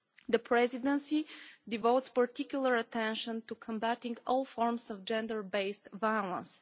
The Presidency devotes particular attention to combatting all forms of gender based violence.